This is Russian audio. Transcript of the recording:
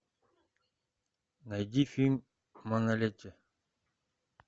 найди фильм манолете